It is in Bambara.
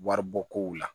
Waribɔkow la